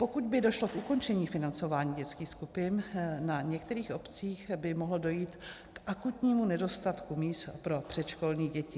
Pokud by došlo k ukončení financování dětských skupin, na některých obcích by mohlo dojít k akutnímu nedostatku míst pro předškolní děti.